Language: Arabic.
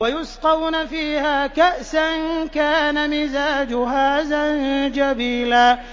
وَيُسْقَوْنَ فِيهَا كَأْسًا كَانَ مِزَاجُهَا زَنجَبِيلًا